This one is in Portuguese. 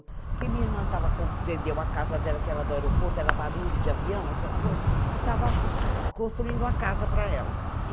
Porque minha irmã tava, vendeu a casa dela, que era do aeroporto, era barulho de avião, essas coisas, e estava construindo uma casa para ela.